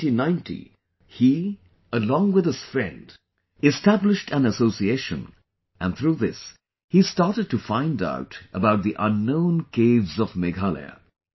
In 1990, he along with his friend established an association and through this he started to find out about the unknown caves of Meghalaya